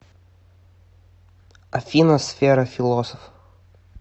афина сфера философ